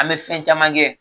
An bɛ fɛn caman kɛ